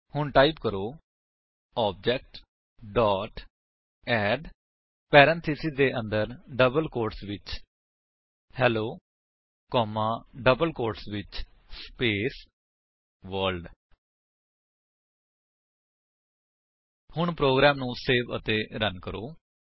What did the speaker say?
ਹੁਣ ਟਾਈਪ ਕਰੋ OBJ dot add parenthesis ਦੇ ਅੰਦਰ ਡਬਲ ਕੋਟਸ ਵਿੱਚ ਹੇਲੋ ਕੋਮਾ ਡਬਲ ਕੋਟਸ ਵਿੱਚ ਸਪੇਸ ਵਰਲਡ ਹੁਣ ਪ੍ਰੋਗਰਾਮ ਨੂੰ ਸੇਵ ਅਤੇ ਰਨ ਕਰੋ